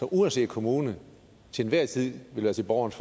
uanset kommune til enhver tid vil være til borgernes